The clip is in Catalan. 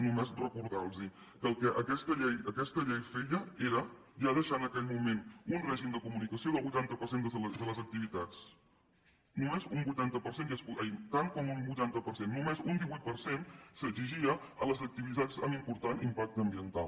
només recordar los que el que aquesta llei feia era ja deixar en aquell moment un règim de comunicació del vuitanta de les activitats tant com un vuitanta per cent només un divuit per cent s’exigia a les activitats amb important impacte ambiental